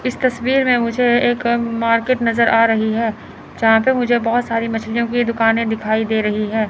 इस तस्वीर में मुझे एक मार्केट नजर आ रही है यहां पे मुझे बहुत सारी मछलियों की दुकानें दिखाई दे रही है।